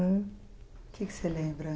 O que que você lembra?